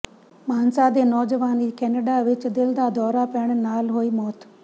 ਮਾਨਸਾ ਦੇ ਨੌਜਵਾਨ ਦੀ ਕੈਨੇਡਾ ਵਿਚ ਦਿਲ ਦਾ ਦੌਰਾ ਪੈਣ ਨਾਲ ਹੋਈ ਮੌਤ